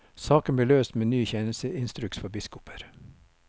Saken ble løst med ny tjenesteinstruks for biskoper.